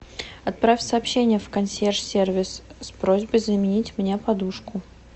отправь сообщение в консьерж сервис с просьбой заменить мне подушку